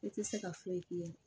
I tɛ se ka foyi k'i ye